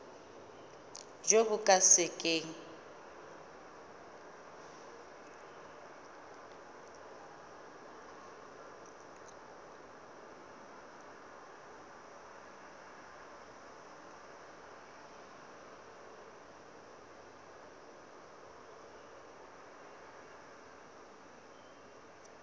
jo bo ka se keng